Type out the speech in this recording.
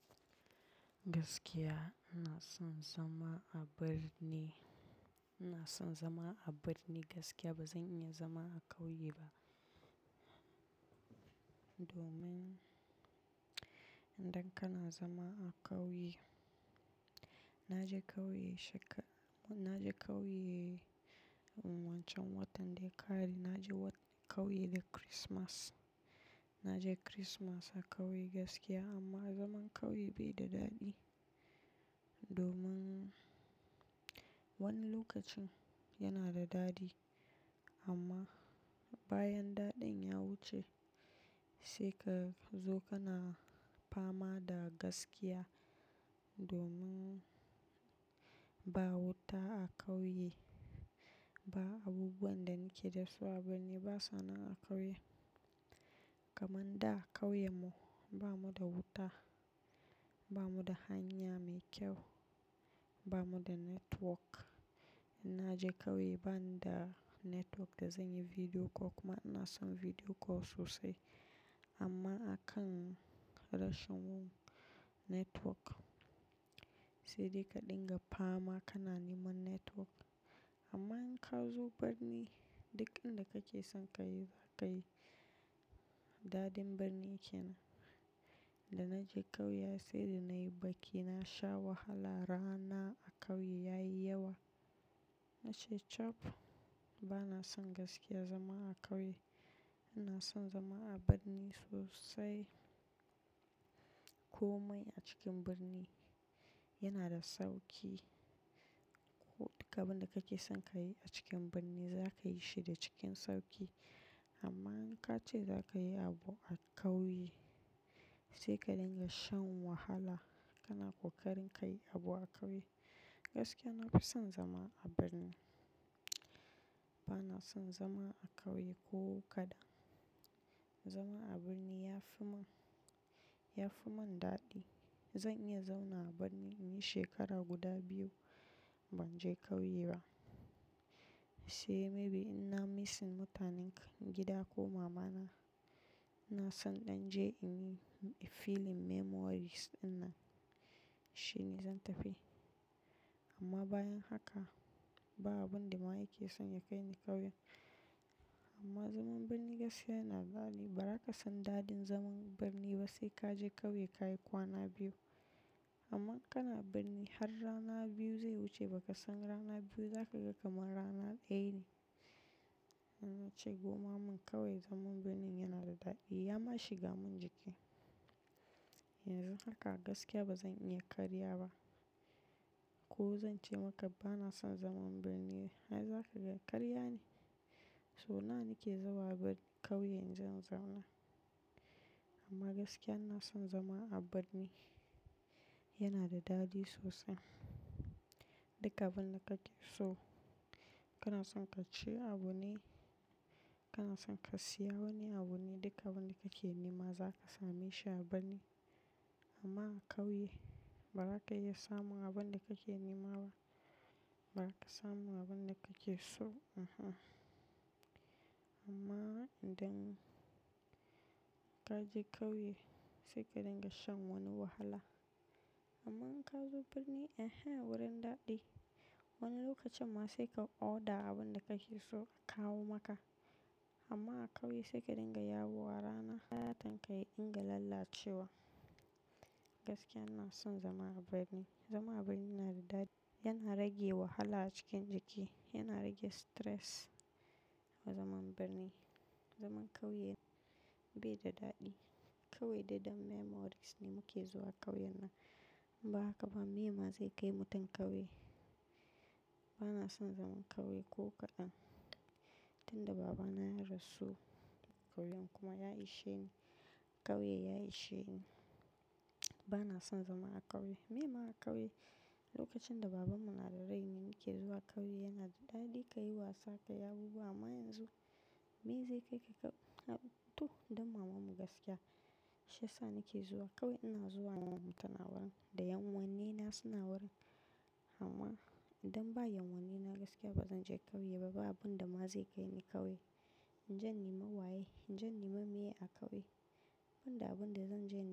Gaskiya ina son zama a birni, ina son zama a birni gaskiya bazan iya zama a ƙauye ba. Domin idan kana zama a ƙauye, na je ƙauye shekar-- na je ƙauye wancan watan da ya ƙare, na je ƙauye da Kirismas. Na je Kirismas a ƙauye gaskiya amma zaman ƙauye bai da daɗi. Domin wani lokacin yana da daɗi amma bayan daɗin ya wuce sai ka zo kana fama da gaskiya. Domin ba wuta a ƙauye ba abubuwan da nike so a birni ba suna a ƙauye. Kaman da ƙauye mu, ba mu da wuta, ba mu da hanya mai kyau, ba mu da network. Na je ƙauye ban da network da zan yi video call kuma ina son video call sosai. Amma a kan rashin network sai dai ka dinga fama kana neman network. Amma in ka zo birni duk inda kake son ka yi za ka yi. Daɗin birni kenan nan. Da na je ƙauye har sai da na yi baƙi na sha wahala rana a ƙauye ya yi yawa. Na ce chap bana son gaskiya zama a ƙauye, ina son zama a birni sosai. Komai a cikin birni yana da sauki. Duk abin da kake son ka yi a cikin birni za ka yi shi da cikin sauƙi. Amma in ka ce za ka yi abu a ƙauye sai ka dinga shan wahala. Kana ƙoƙarin ka yi abu a ƙauye. Gaskiya na fi son zama a birni. Bana son zama a ƙauye ko kaɗan. Zama a birni ya fi mun, ya fi mun daɗi. Zan iya zauna a birni shekara guda biyu ban je ƙauye ba. Sai maybe in na missing mutanen gida ko mama na, na san iɗan je in yi feeling memories ɗinnan shine zan tafi. Amma bayan haka ba abin da ma yake son ya kai ni ƙauyen. Amma zaman birni gaskiya yana daɗi. Ba za ka san daɗin zaman birni ba sai ka je ƙauye ka yi kwana biyu. Amma kana birni har rana biyu zai wuce ba ka san rana biyu za ka ga kamar rana ɗaya ne. Na ce gomma mun kawai zaman birni yana da daɗi. Ya ma shiga mun jiki. Yanzu haka gaskiya bazan iya karya ba. Ko zan ce maka bana son zaman birni ai za ka ga ƙarya ne. So nawa nake zuwa birni ƙauye inje in zauna. Amma gaskiya ina son zama a birni. Yana da daɗi sosai. Duk abin da kake so, kana son ka ci abu ne, kana son ka siya wani abu ne, duka abin da kake nema za ka same shi a birni. Amma a ƙauye ba za ka iya samun abin da kake nema ba. Ba za ka samu abin da kake so hmmm. Amma idan ka je ƙauye sai ka dinga shan wani wahala. Amma in ka zo birni ehee wurin daɗi. Wani lokacin ma sai ka order abin da kake so a kawo maka. Amma a ƙauye sai ka dinga yawo a rana har fatan ka ya dinga lallacewa. Gaskiya ina son zama a birni. Zama a birni yana da daɗi, yana rage wahala a cikin jiki, yana rage stress. Zaman birni, zaman ƙauye bai da daɗi. Kawai dai dan memories ne muke zuwa ƙauyen nan. Ba haka ba, meye ma zai kai mutum ƙauye. Bana son zaman ƙauye ko kaɗan. Tunda baba na ya rasu ƙauyen kuma ya ishe ni, ƙauye ya ishe ni. Bana son zama a ƙauye. Meye ma a ƙauye? Lokacin da baban mu nada rai ne mu muke zuwa ƙauye yana da daɗi, ka yi wasa, ka yi abubuwa amma yanzu meye zai kai ka ƙauye? To, don maman mu gaskiya. Shiya sa nake zuwa ƙauye ina zuwa maman mu tana wurin da ƴan uwanni na suna wurin. Amma idan ba ƴan uwanni na gaskiya bazan je ƙauye ba. Ba abun da ma zai kai ni ƙauye. In je nima waye, in je nima meye a ƙauye? Ban da abin da zan je ne.